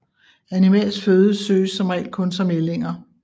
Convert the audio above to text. Animalsk føde søges som regel kun som ællinger